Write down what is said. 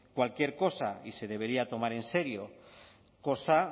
cualquier cosa y se debería tomar en serio cosa